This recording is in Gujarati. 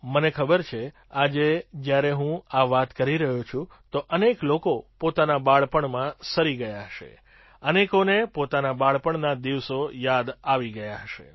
મને ખબર છે આજે જ્યારે હું આ વાત કરી રહ્યો છું તો અનેક લોકો પોતાના બાળપણમાં સરી ગયા હશે અનેકોને પોતાના બાળપણના દિવસો યાદ આવી ગયા હશે